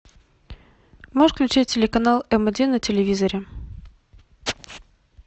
можешь включить телеканал м один на телевизоре